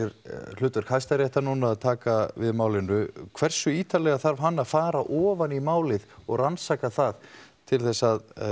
hlutverk Hæstaréttar nú er að taka við málinu hversu ítarlega þarf hann að fara ofan í málið og rannsaka það til þess að